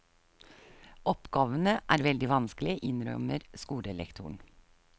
Oppgavene er veldig vanskelige, innrømmer skolelektoren.